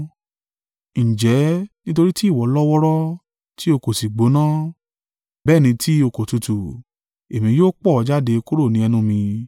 Ǹjẹ́ nítorí tí ìwọ lọ wọ́ọ́rọ́, tí o kò si gbóná, bẹ́ẹ̀ ni tí o kò tutù, èmi yóò pọ̀ ọ́ jáde kúrò ni ẹnu mi.